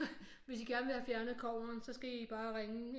Hvis I gerne vil have fjernet kobberen så skal I bare ringe